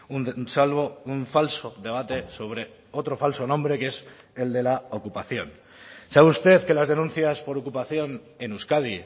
un salvo un falso debate sobre otro falso nombre que es el de la ocupación sabe usted que las denuncias por ocupación en euskadi